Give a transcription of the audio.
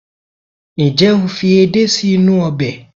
njé o fi edé sí inú obe